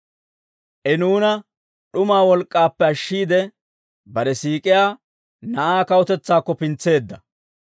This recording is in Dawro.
I nuuna d'umaa wolk'k'aappe ashshiide, bare siik'iyaa Na'aa kawutetsaakko pintseedda.